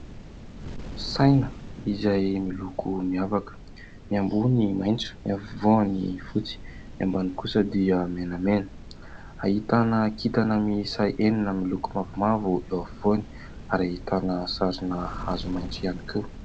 Saina izay miloko miavaka, ny ambony maitso, ny afovoany fotsy, ny ambany kosa dia menamena. Ahitana kintana miisa enina miloko mavomavo eo afovoany ary ahitana sarina hazo maitso ihany koa.